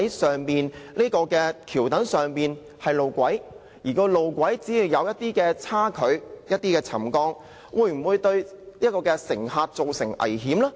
究竟橋躉上的路軌出現少許差距和沉降，會否對乘客造成危險呢？